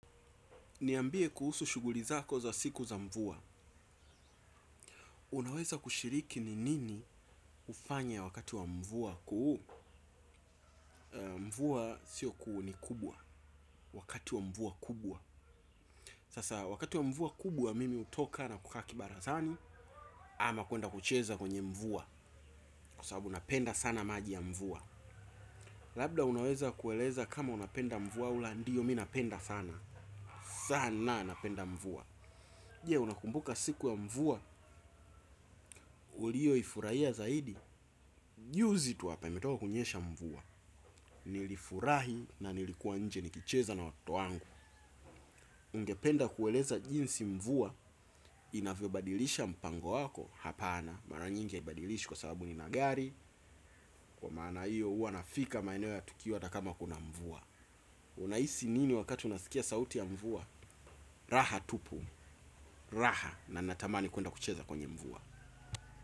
Niambie kuhusu shughuli zako za siku za mvua. Unaweza kushiriki ni nini hufanya wakati wa mvua kuu. Mvua sio kuu ni kubwa. Wakati wa mvua kubwa. Sasa wakati wa mvua kubwa mimi hutoka nakukaa kibarazani ama kwenda kucheza kwenye mvua kwa sababu napenda sana maji ya mvua. Labda unaweza kueleza kama unapenda mvua, au la ndiyo mi napenda sana. Sana napenda mvua. Je, unakumbuka siku ya mvua, uliyoifurahia zaidi. Juzi tu hapa, imetoka kunyesha mvua. Nilifurahi na nilikuwa nje nikacheza na watoto wangu. Ungependa kueleza jinsi mvua, inavyobadilisha mpango wako, hapana. Mara nyingi ha ibadilishwi kwa sababu ni magari. Kwa maana hiyo, huanafika maeneo ya tukio hata kama kuna mvua. Unahisi nini wakati unasikia sauti ya mvua? Raha tupu, raha na natamani kwenda kucheza kwenye mvua.